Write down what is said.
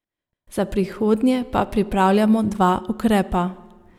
Za prihodnje pa pripravljamo dva ukrepa.